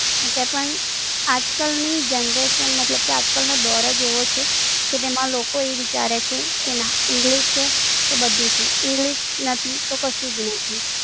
હશે પણ, આજકાલ ની Generation, મતલબ કે આજકાલનો દોર જ એવો છે કે ના English છે, તો બધું જ છે, English નથી તો કશું જ નથી.